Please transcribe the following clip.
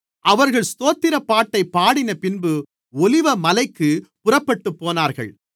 அவர்கள் ஸ்தோத்திரப்பாட்டைப் பாடினபின்பு ஒலிவமலைக்குப் புறப்பட்டுப்போனார்கள்